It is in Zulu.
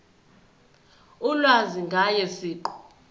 ulwazi ngaye siqu